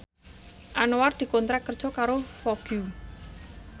Anwar dikontrak kerja karo Vogue